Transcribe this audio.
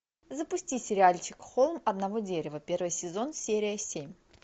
запусти сериальчик холм одного дерева первый сезон серия семь